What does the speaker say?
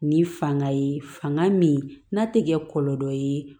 Ni fanga ye fanga min n'a tɛ kɛ kɔlɔlɔ ye